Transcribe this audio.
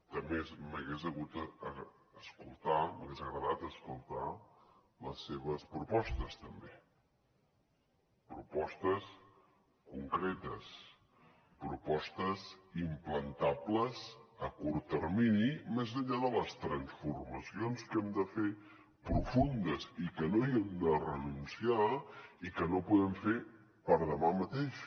també m’hagués agradat escoltar les seves propostes també propostes concretes propostes implantables a curt termini més enllà de les transformacions que hem de fer profundes i que no hi hem de renunciar i que no podem fer per a demà mateix